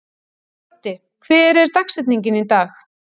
Broddi, hver er dagsetningin í dag?